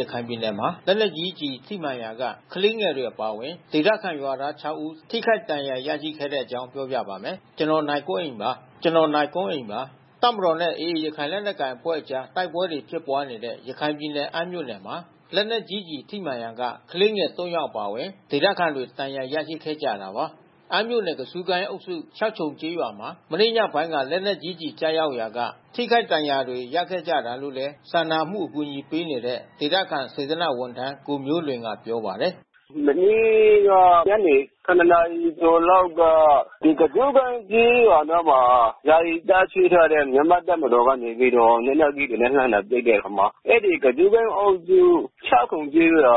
ရခိုင်ပြည်နယ်မှာ လက်နက်ကြီးကျည်ထိမှန်ရာက ကလေးငယ်တွေ အပါအဝင် ဒေသခံရွာသား ခြောက် ဦး ထိခိုက်ဒဏ်ရာရခဲ့တဲ့အကြောင်း ပြောပြပါမယ်။ ဗွီအိုအေမြန်မာပိုင်း သတင်းထောက် ကိုနိုင်ကွန်းအိန်က သတင်းပေးပို့ထားပါတယ်။ တပ်မတော်နဲ့ AA ရခိုင်လက်နက်ကိုင် အဖွဲ့ကြား တိုက်ပွဲတွေ ဖြစ်ပွားနေတဲ့ ရခိုင်ပြည်နယ်၊ အမ်းမြို့နယ်မှာ လက်နက်ကြီးကျည် ထိမှန်ရာက ကလေးငယ် ၃ ယောက် အပါအဝင် ဒေသခံတွေ ဒဏ်ရာရခဲ့ကြတာပါ။ အမ်းမြို့နယ် ကဇုကိုင်းအုပ်စု၊ ရှောက်ခြုံကျေးရွာမှာ မနေ့ညပိုင်းက လက်နက်ကြီးကျရောက်ရာက ထိခိုက်ဒဏ်ရာတွေ ရခဲ့ကြတာလို့လည်း စာနာမှုအကူအညီပေးနေတဲ့ ဒေသခံစေတနာ့ဝန်ထမ်း ကိုမျိုးလွင်ကပြောပါတယ်။ “မနေ့က ညနေ ၇ နာရီကျော်လောက်က ဒီကဇူးကိုင်းကျေးရွာအနားမှာ ယာယီတပ်စွဲထားတဲ့ မြန်မာတပ်မတော်ကနေပြီးတော့ လက်နက်ကြီးတွေနဲ့ လှမ်းလာပစ်တဲ့အခါမှာ အဲဒီကဇူးကိုင်းကျေးရွာအုပ်စု ရှောက်ခြုံကျေးရွာ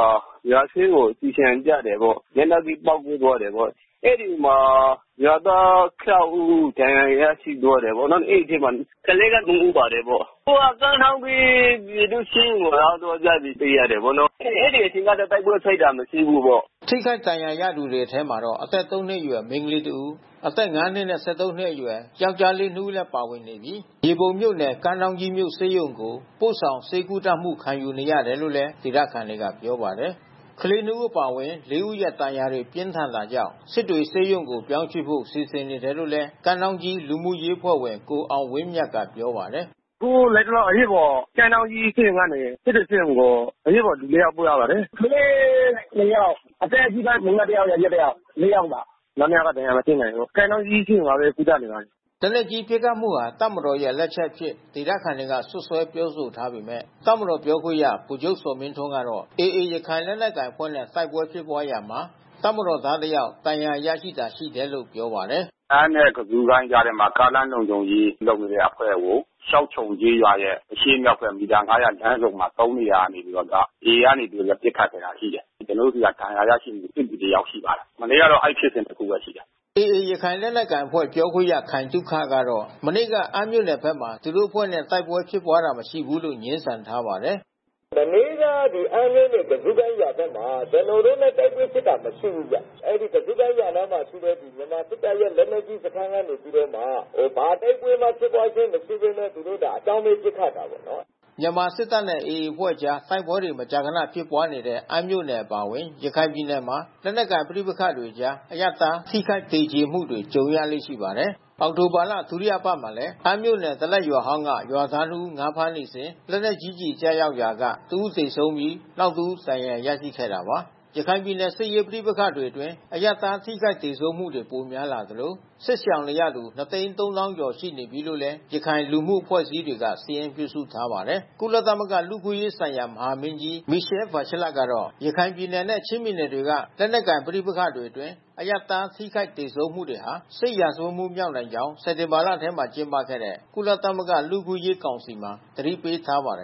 ရွာထဲကို ကျည်ဆံကျတယ်ပေါ့။ လက်နက်ကြီးပေါက်ကွဲသွားတယ်ပေါ့။ အဲဒီမှာအရပ်သား ၆ ဦးဒဏ်ရာ ရရှိသွားတယ်ပေါ့နော်။ အဲဒီအထဲမှာ ကလေးက ၃ ဦး ပါတယ်ပေါ့။ အခုကကမ်းထောင်းကြီး ပြည်သူ့ဆေးရုံကို ရောက်သွားကြပြီးသိရတာပေါ့နော်။ အဲဒီအချိန်မှာ တိုက်ပွဲဖြစ်ပွါးတာ မရှိဘူး။” ထိခိုက်ဒဏ်ရာရသူတွေထဲမှာတော့ အသက် ၃ နှစ်အရွယ် မိန်းကလေးတဦး၊ အသက် ၅ နှစ်နဲ့ ၁၃ နှစ်အရွယ် ယောက်ကျားလေး ၂ ဦး လည်း ပါဝင်ပြီး၊ မြေပုံမြို့နယ် ကမ်းထောင်းကြီးမြို့ဆေးရုံကို ပို့ဆောင်ဆေးကုသမှုခံနေရတယ်လို့လည်း ဒေသခံတွေက ပြောပါတယ်။ ကလေး ၂ ဦး အပါအဝင် ၄ ဦးရဲ့ ဒဏ်ရာတွေ ပြင်းထန်တာကြောင့် စစ်တွေဆေးရုံကိုပြောင်းရွှေ့ဖို့ စီစဉ်နေတယ်လို့လည်း ကမ်းထောင်းကြီးလူမှုရေးအဖွဲ့ဝင် ကိုအောင်ဝင်းမြတ်ကပြောပါတယ်။ “အခုလတ်တလောအရေးပေါ် ကမ်းထောင်းကြီးဆေးရုံကနေ စစ်တွေဆေးရုံကို အရေးပေါ်လူ ၄ ယောက်ပို့ ရပါ တယ်။ ကလေး ၂ ယောက်။ အသက်ကြီးပိုင်းယောကျာ်း တယောက် မိန်းမတယောက်၊ ၄ ယောက်ပါ၊ နောက် ၂ ယောက်က ဒဏ်ရာ မပြင်းထန်လို့ ကမ်းထောင်းကြီးဆေးရုံမှာပဲ ကုသနေပါတယ်။” လက်နက်ကြီးပစ်ခတ်မှုဟာ တပ်မတော်ရဲ့ လက်ချက်အဖြစ် ဒေသခံတွေက စွပ်စွဲပြောဆိုထားပေမဲ့ တပ်မတော် ပြောခွင့်ရပုဂ္ဂိုလ် ဗိုလ်ချုပ်ဇော်မင်းထွန်းကတော့ AA ရခိုင်လက်နက်ကိုင်အဖွဲ့နဲ့ တိုက်ပွဲဖြစ်ပွားရာမှာ တပ်မတော်သား တစ်ယောက် ဒဏ်ရာရတာသာ ရှိတယ်လို့ ပြောပါတယ်။ “အမ်းနဲ့ ကဇူးကိုင်းကြားထဲမှာ ကားလမ်လုံခြုံရေးလုပ်နေတဲ့အဖွဲ့ကို ရှောက်ခြုံကျေးရွာရဲ့အရှေ့မြောက်ဘက် မီတာ ၅၀၀ အကွာလမ်းဆုံမှာ ၃ နေရာနေပြီးတော့က AA ကနေပြီးတော့ ပစ်ခတ်ခဲ့တာရှိတယ်။ ကျနော်တို့ဆီက ဒဏ်ရာရရှိသူ စစ်သည်တယောက်ရှိပါတယ်။ မနေ့ကတော့ အဲဒီဖြစ်စဉ်တခုပဲ ရှိတယ်။” AA ရခိုင်လက်နက်ကိုင်အဖွဲ့ ပြောခွင့်ရခိုင်သုခကတော့ မနေ့က အမ်းမြို့နယ်ဘက်မှာ သူတို့အဖွဲ့နဲ့ တိုက်ပွဲဖြစ်ပွါးတာ မရှိဘူးလို့ ငြင်းဆန်ထားပါတယ်။ “မနေ့ကအမ်းမြို့နယ် ကဇူးကိုင်းရွာဘက်မှာ ကျနော်တို့နဲ့ တိုက်ပွဲဖြစ်ပွါးတာ မရှိဘူးဗျ။ အဲဒီကဇူးကိုင်းရွာနားမှာရှိတဲ့ မြန်မာစစ်တပ်ရဲ့ စခန်းကနေလက်နက်ကြီးနဲ့ ဘာတိုက်ပွဲမှဖြစ်ပွါးတာအရှိပဲနဲ့အကြောင်းမဲ့ ပစ်ခတ်တာပေါ့နော်။” မြန်မာစစ်တပ်နဲ့ AA အဖွဲ့တို့ကြား တိုက်ပွဲတွေမကြာခဏ ဖြစ်ပွားနေတဲ့ အမ်းမြို့နယ် အပါအဝင် ရခိုင်ပြည်နယ်မှာ လက်နက်ကိုင် ပဋိပက္ခတွေကြား အရပ်သား ထိခိုက်သေကြေမှုတွေ ကြုံရလေ့ရှိပါတယ်။ အောက်တိုဘာလ ဒုတိယအပတ်မှာလည်း ဒလက်ရွာဟောင်းက ရွာသား နှစ် ဦး ငါးဖမ်းနေစဉ် လက်နက်ကြီးကျည် ကျရောက်ရာက တဦးသေဆုံးပြီး၊ နောက်တဦး ဒဏ်ရာရရှိခဲ့တာပါ။ ရခိုင်ပြည်နယ်က စစ်ရေးပဋိပက္ခတွေအတွင်း အရပ်သား ထိခိုက်သေဆုံးမှုတွေ ပိုများလာသလို စစ်ရှောင်နေရသူ ၂၃၀,၀၀၀ ကျော် ရှိနေပြီးလို့လည်း ရခိုင်လူမှုအဖွဲ့အစည်းတွေက စာရင်းပြုစုထားပါတယ်။ ကုလသမဂ္ဂ လူ့အခွင့်အရေးဆိုင်ရာ မဟာမင်းကြီး Michelle Bachelet ကတော့ ရခိုင်ပြည်နယ်နဲ့ ချင်းပြည်နယ်တွေက လက်နက်ကိုင် ပဋိပက္ခတွေအတွင်း အရပ်သား ထိခိုက်သေဆုံးမှုတွေဟာ စစ်ရာဇဝတ်မှုမြောက်နိုင်ကြောင်း စက်တင်ဘာလထဲ ကျင်းပခဲ့တဲ့ ကုလသမဂ္ဂ လူ့အခွင့်အရေး ကောင်စီမှာ သတိပေးထားပါတယ်